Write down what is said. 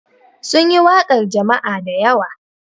Sun yi waƙar jama'a da yawa.